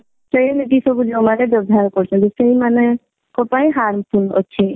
ସେମିତି ସବୁ ଯଉମାନେ ବ୍ୟବହାର କରୁଚନ୍ତି ସେଇମାନଙ୍କ ପାଇଁ harmful ଅଛି।